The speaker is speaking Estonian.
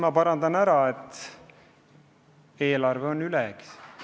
Ma kõigepealt teen paranduse, et eelarve on ülejäägis.